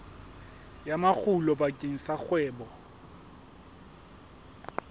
ya makgulo bakeng sa kgwebo